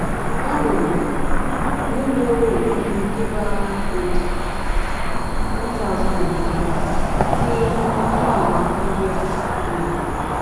bawoni mo n lo ogun diva od one thousand milligram ati qutipin one hundred milli